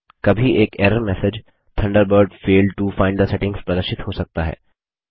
कभी एक error message Thunderbird failed to find the settings प्रदर्शित हो सकता है